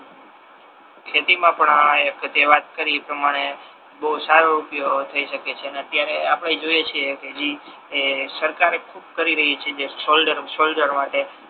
ખેતી મા પણ આ એક તે વાત કરી એ પ્રમાણે બહુ સારો રૂપિયો થઈ શકે છે અને અત્યારે આપડે જોઈએ છે કે જે ઇ સરકારે ખૂબ કરી રહી છે જે શોલડર્મ સોલ્જર માટે